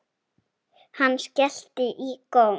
Hann skellti í góm.